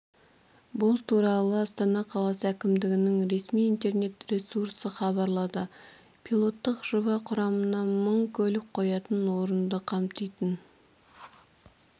бұл туралы астана қаласы әкімдігінің ресми интернет-ресурсы хабарлады пилоттық жоба құрамына мың көлік қоятын орынды қамтитын